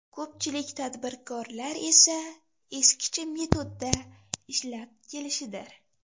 Ko‘pchilik tadbirkorlar esa eskicha metodda ishlab kelishidir.